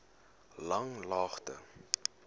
langlaagte